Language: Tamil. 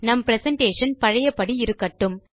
நம் பிரசன்டேஷன் பழையபடி இருக்கட்டும்